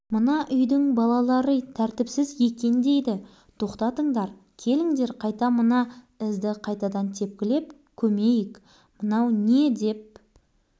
ұятшылын қарай көріңдер мұның ұялса өзі ұяла берсін ал біз асфальтқа өзді-өз атымызды жазып шығамыз ел